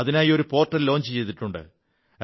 അതിനായി ഒരു പോർട്ടൽ തുടങ്ങിട്ടുണ്ട്